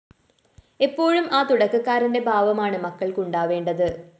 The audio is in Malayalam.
എപ്പോഴും ആ തുടക്കക്കാരന്റെ ഭാവമാണ് മക്കള്‍ക്ക് ഉണ്ടാവേണ്ടത്